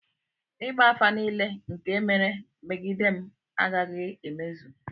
ịgba afa nile nke mere megidem agaghi-emezu